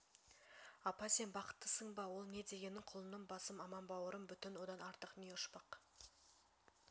апа сен бақыттысың ба ол не дегенің құлыным басым аман бауырым бүтін одан артық не ұшпақ